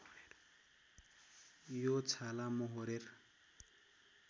यो छाला मोहोरेर